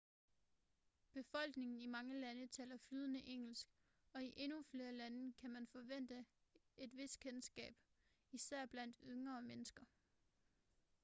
befolkningen i mange lande taler flydende engelsk og i endnu flere lande kan man forvente et vist kendskab især blandt yngre mennesker